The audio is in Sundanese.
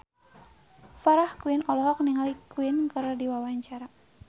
Farah Quinn olohok ningali Queen keur diwawancara